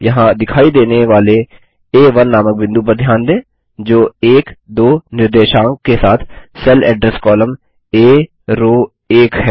यहाँ दिखाई देने वाले आ1 नामक बिंदु पर ध्यान दें जो 12 निर्देशांक के साथ सेल एड्रेस कॉलम आ रो 1 है